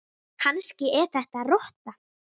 Kannski er þetta rotta?